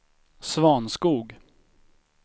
Svanskog